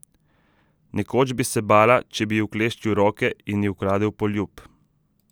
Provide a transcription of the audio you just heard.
Nekoč bi se bala, če bi ji ukleščil roke in ji ukradel poljub.